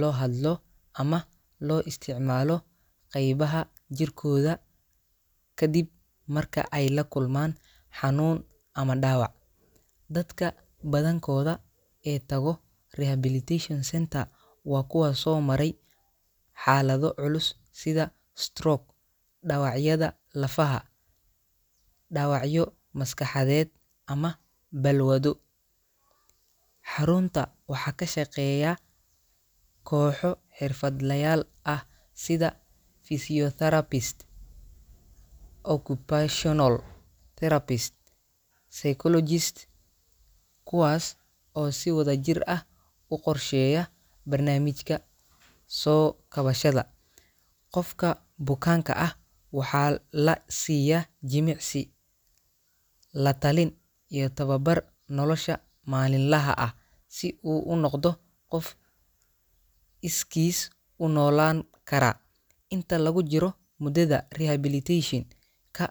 loo hadlo ama loo isticmaalo qaybaha jirkooda ka dib marka ay la kulmaan xanuun ama dhaawac. Dadka badankooda ee tago rehabilitation center waa kuwa soo maray xaalado culus sida stroke, dhaawacyada lafaha, dhaawacyo maskaxeed ama balwado. Xarunta waxaa ka shaqeeya kooxo xirfadlayaal ah sida physiotherapist, occupational therapist, iyo psychologist, kuwaas oo si wadajir ah u qorsheeya barnaamijka soo kabashada. Qofka bukaanka ah waxaa la siiya jimicsi, la-talin iyo tababar nolosha maalinlaha ah si uu u noqdo qof iskiis u noolaan kara. Inta lagu jiro muddada rehabilitation-ka.